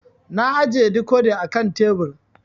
Na ajiye dikodi a kan tebur